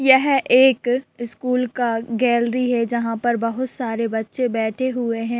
यह एक स्कूल का गेलरी है जहाँ पर बहुत सारे बच्चे बेठे हुए हैं।